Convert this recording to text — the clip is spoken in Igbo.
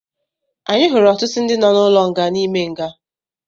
Anyị hụrụ ọtụtụ ndị nọ n'ụlọ nga n'ime nga